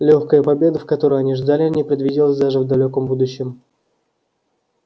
лёгкая победа которой они ждали не предвиделась даже в далёком будущем